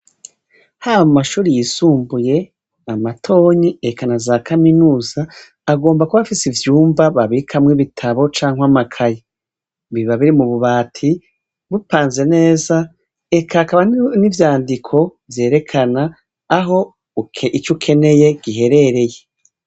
Haba mumashure yisumbuye , amatonyi eka naza Kaminuza, agomba kuba afis’ivyumba babikamwo ibitabo cank’amakaye. Biba biri mububati bupanze neza eka hakaba n’ivyandiko vyerekana aho ic’ukeneye giherereye.